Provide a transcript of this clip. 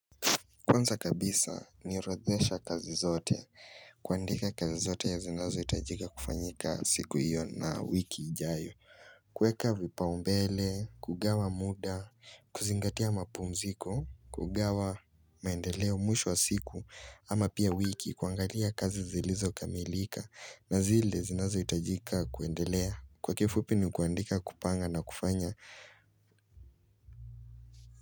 Kwanza kabisa ni orodhezesha kazi zote kuandika kazi zote zinazo hitajika kufanyika siku hiyo na wiki ijayo. Kweka vipa umbele, kugawa muda, kuzingatia mapumziko, kugawa maendeleo mwisho wa siku ama pia wiki kuangalia kazi zilizo kamilika na zile zinazo hitajika kuendelea kwa kifupi ni kuandika kupanga na kufanya.